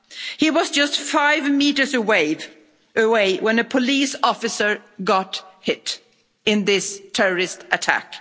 He was just five metres away when a police officer got hit in this terrorist attack.